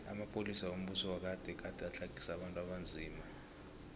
amapolisa wombuso wagade gade atlagisa abantu abanzima